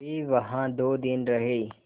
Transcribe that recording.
वे वहाँ दो दिन रहे